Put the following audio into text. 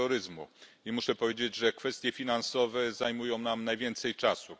Terroryzmu i muszę powiedzieć, że kwestie finansowe zajmują nam najwięcej czasu.